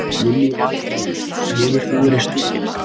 Lillý Valgerður: Hefur þú verið stunginn?